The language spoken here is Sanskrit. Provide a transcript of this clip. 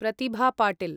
प्रतिभा पाटिल्